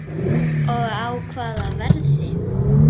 Og á hvaða verði?